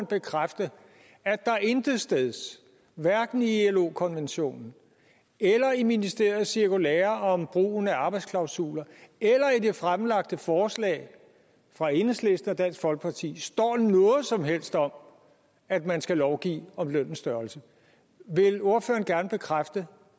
bekræfte at der intetsteds hverken i ilo konventionen eller i ministeriets cirkulære om brugen af arbejdsklausuler eller i det fremsatte forslag fra enhedslisten og dansk folkeparti står noget som helst om at man skal lovgive om lønnens størrelse vil ordføreren bekræfte